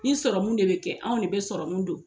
Ni sɔrɔmun de bɛ kɛ, anw de bɛ sɔrɔmun don.